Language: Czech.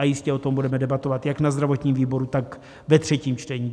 A jistě o tom budeme debatovat jak na zdravotním výboru, tak ve třetím čtení.